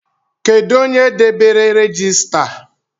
Kedụ onye debere regista?